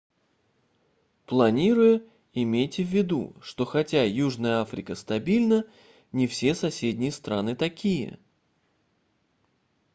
планируя имейте ввиду что хотя южная африка стабильна не все соседние страны такие